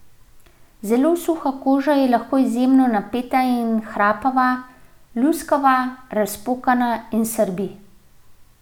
Zelo suha koža je lahko izjemno napeta in hrapava, luskava, razpokana in srbi.